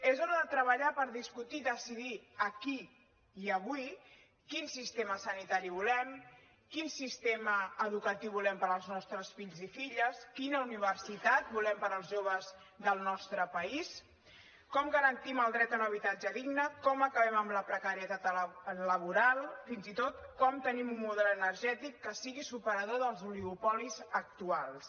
és hora de treballar per discutir i decidir aquí i avui quin sistema sanitari volem quin sistema educatiu volem per als nostres fills i filles quina universitat volem per als joves del nostre país com garantim el dret a un habitatge digne com acabem amb la precarietat laboral fins i tot com tenim un model energètic que sigui superador dels oligopolis actuals